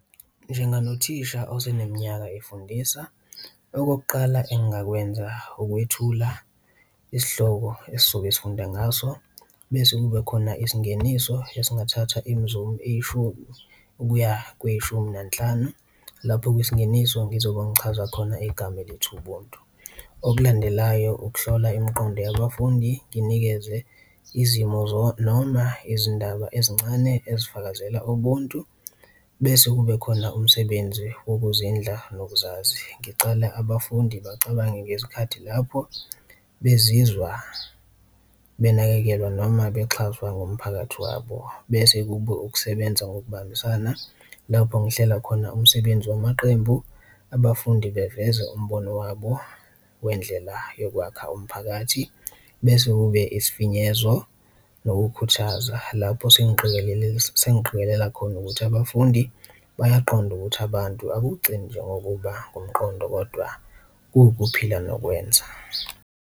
Njenganothisha oseneminyaka efundisa okokuqala engakwenza ukwethula isihloko esizobe sifunda ngaso, bese kube khona isingeniso esingathatha imizu eyishumi okuya kweyishumi nanhlanu, lapho kwisingeniso ngizobe ungichaza khona igama elethi ubuntu. Okulandelayo ukuhlola imiqondo yabafundi, nginikeze izimo noma izindaba ezincane ezifakazela ubuntu, bese kube khona umsebenzi wokuzinza nokuzazi, ngicale abafundi bacabange ngezikhathi lapho bezizwa benakekelwa noma bexhaswa ngumphakathi wabo. Bese kube ukusebenza ngokubambisana lapho ngihlela khona umsebenzi wamaqembu abafundi beveze umbono wabo wendlela yokwakha umphakathi bese kube isifinyezo nokukhuthaza, lapho sengiqikelela khona ukuthi abafundi bayaqonda ukuthi abantu akugcini nje ngokuba ngumqondo kodwa kuwuphila nokwenza.